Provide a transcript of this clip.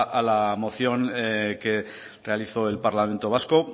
a la moción que realizó el parlamento vasco